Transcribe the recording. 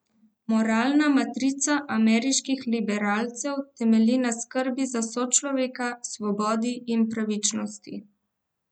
Moralna matrica ameriških liberalcev temelji na skrbi za sočloveka, svobodi in pravičnosti.